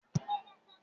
Emi ko ra awọn oda kikun